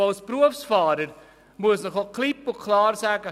Als Berufsfahrer muss ich Ihnen klipp und klar sagen: